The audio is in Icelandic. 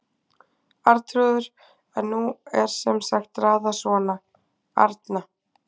Arnþrúður en nú er sem sagt raðað svona: Arna